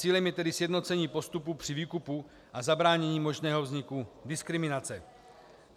Cílem je tedy sjednocení postupu při výkupu a zabránění možného vzniku diskriminace.